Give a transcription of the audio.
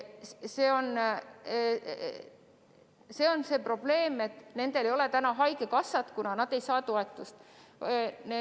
Probleem on selles, et nendel ei ole haigekassa kindlustust, kuna nad ei saa toetust.